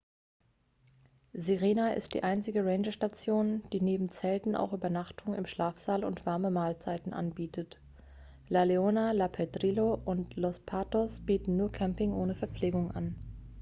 sirena ist die einzige rangerstation die neben zelten auch übernachtung im schlafsaal und warme mahlzeiten anbietet la leona san pedrillo und los patos bieten nur camping ohne verpflegung an